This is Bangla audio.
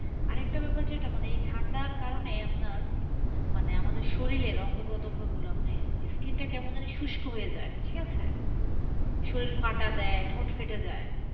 আরেকটা ব্যাপার যেটা মানে এই ঠান্ডার কারণে আপনার, মানে আমাদের শরীরের অঙ্গ প্রতঙ্গ গুলো মানে skin টা কেমনধারা শুস্ক হয়ে যায়, ঠিকাছে? শরীর ফাটা দেয়, ঠোঁট ফেটে যায়।